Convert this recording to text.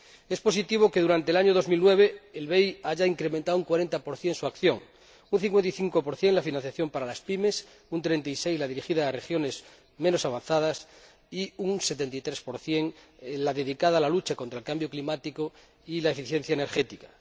Es positivo que, durante el año 2009, el BEI haya incrementado en un 40 su acción, en un 55 la financiación para las PYME, en un 36 la dirigida a regiones menos avanzadas, y en un 73 la dedicada a la lucha contra el cambio climático y a la eficiencia energética.